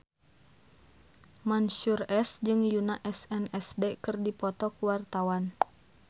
Mansyur S jeung Yoona SNSD keur dipoto ku wartawan